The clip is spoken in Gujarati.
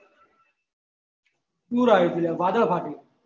પુર આયુ થું લા હતું વાદળ ફાટ્યું હતું